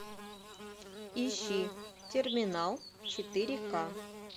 ищи терминал четыре ка